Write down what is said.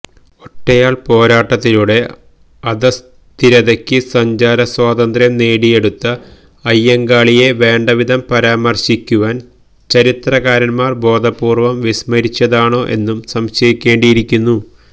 ഒറ്റയാള് പോരാട്ടത്തിലൂടെ അധസ്ഥിതര്ക്ക് സഞ്ചാരസ്വാതന്ത്ര്യം നേടിയെടുത്ത അയ്യങ്കാളിയെ വേണ്ടവിധം പരാമര്ശിക്കുവാന് ചരിത്രകാരന്മാര് ബോധപൂര്വ്വം വിസ്മരിച്ചതാണോ എന്നും സംശയിക്കേണ്ടിയിരിക്കുന്നു